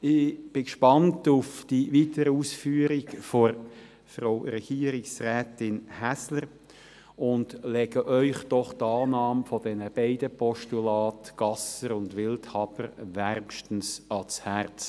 Ich bin gespannt auf die weiteren Ausführungen von Frau Regierungsrätin Häsler und lege Ihnen die Annahme dieser beiden Postulate Gasser und Wildhaber wärmstens ans Herz.